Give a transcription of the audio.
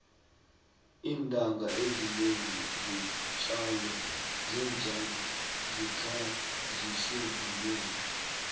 iintanga ezinengi zeentjalo zikhanjiswa mumoya